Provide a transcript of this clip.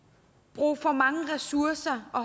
bruge for mange ressourcer og